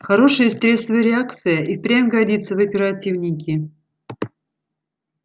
хорошая стрессовая реакция и впрямь годится в оперативники